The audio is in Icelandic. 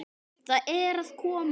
Það er að koma!